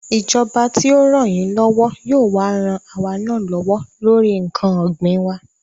Ìjọba tí ó rànyínlọ́wọ́ yóò wá ran àwa náà lọ́wọ́ lórí ǹkan ògbìn wa